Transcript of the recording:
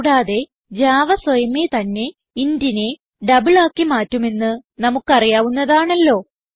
കൂടാതെ ജാവ സ്വയമേ തന്നെ ഇന്റ് നെ ഡബിൾ ആക്കി മാറ്റുമെന്ന് നമുക്ക് അറിയാവുന്നതാണല്ലോ